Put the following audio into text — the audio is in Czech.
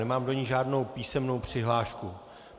Nemám do ní žádnou písemnou přihlášku.